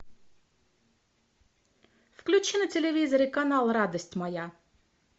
включи на телевизоре канал радость моя